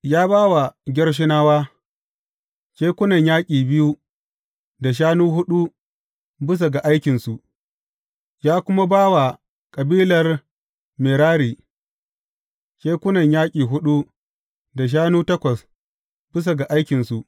Ya ba wa Gershonawa, kekunan yaƙi biyu da shanu huɗu bisa ga aikinsu, ya kuma ya ba wa kabilar Merari kekunan yaƙi huɗu da shanu takwas bisa ga aikinsu.